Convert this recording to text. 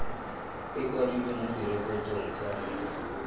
e kwadilwe mo direkotong tsa